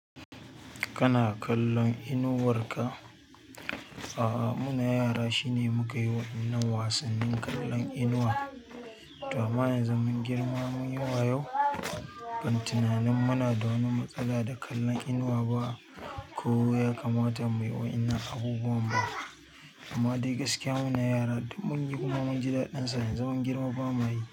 Kana kallon inuwar ka? A'a muna yara shine mukayi wa'innan wasannin kallon inuwa amma yanzu mun girma muyi wa yau, ban tunanin muna da wani matsala da kallon inuwa ba ko ya kamata muyi wa'innan abubuwan ba amma dai gaskiya muna yara duk munyi kuma munji daɗin sa yanzu mun girma bamuyi.